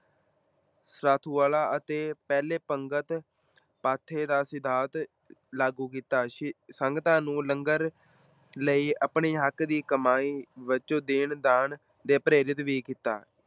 ਅਤੇ ਪਹਿਲੇ ਪੰਗਤ ਪਾਥੇ ਦਾ ਸਿਧਾਂਤ ਲਾਗੂ ਕੀਤਾ, ਸੀ ਸੰਗਤਾਂ ਨੂੰ ਲੰਗਰ ਲਈ ਆਪਣੇ ਹੱਕ ਦੀ ਕਮਾਈ ਵਜੋਂ ਦੇਣ ਦਾਨ ਦੇ ਪ੍ਰੇਰਿਤ ਵੀ ਕੀਤਾ।